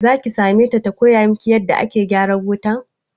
Zaki same ta ta koya miki yanda ake gyaran wuta?